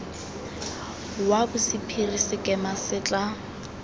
wa bosephiri sekema se tla